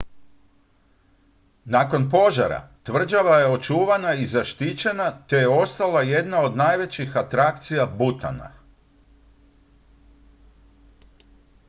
nakon požara tvrđava je očuvana i zaštićena te je ostala jedna od najvećih atrakcija butana